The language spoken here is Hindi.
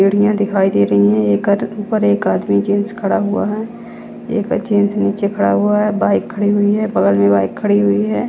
सीढ़ियां दिखाई दे रही है एक आदमी ऊपर एक आदमी जेंट्स खड़ा हुआ है एक जेंट्स नीचे खड़ा हुआ है बाइक खड़ी हुई है बगल में बाइक खड़ी हुई है।